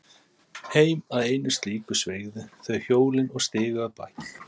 Heim að einu slíku sveigðu þau hjólin og stigu af baki.